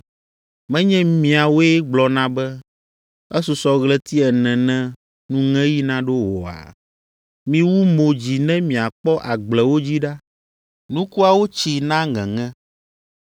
Menye miawoe gblɔna be, ‘Esusɔ ɣleti ene ne nuŋeɣi naɖo oa’? Miwu mo dzi ne miakpɔ agblewo dzi ɖa! Nukuawo tsi na ŋeŋe.